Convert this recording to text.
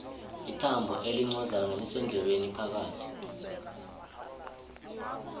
ithambo elincozana lisendlebeni phakathi